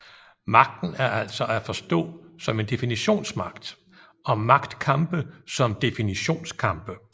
Magten er altså at forstå som en definitionsmagt og magtkampe som definitionskampe